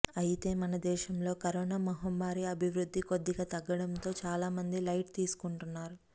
అయితే మన దేశంలో కరోనా మహమ్మారి అభివృద్ధి కొద్దిగా తగ్గడంతో చాలా మంది లైట్ తీసుకుంటున్నారు